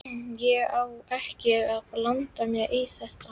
Ég á ekki að blanda mér í það.